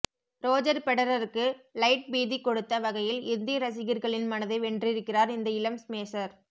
Roger ஃபெடரருக்கு லைட் பீதி கொடுத்த வகையில் இந்திய ரசிகர்களின் மனதை வென்றிருக்கிறார் இந்த இளம் ஸ்மேஷர்